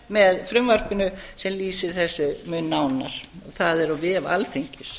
með frumvarpinu sem lýsir þessu mun nánar og það er á vef alþingis